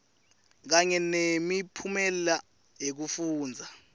kanye nemiphumela yekufundza